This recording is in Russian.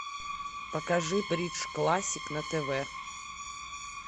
покажи бридж классик на тв